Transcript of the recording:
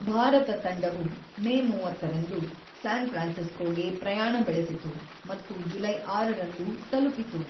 ಭಾರತ ತಂಡವು ಮೇ ಮೂವತ್ತೊಂದರಂದು ಸ್ಯಾನ್ ಫ್ರಾನ್ಸಿಸ್ಕೋಗೆ ಪ್ರಯಾಣ ಬೆಳೆಸಿತು ಮತ್ತು ಜುಲೈ ಆರರಂದು ತಲುಪಿತು.